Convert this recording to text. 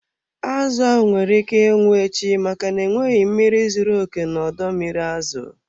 Azụ ahụ nwere ike ịnwụ echi, maka na enweghị mmiri zuru oke na ọdọ mmiri azụ.